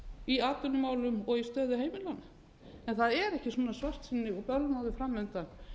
í atvinnumálum og í stöðu heimilanna en það er ekki svona svartsýni og bölmóður framundan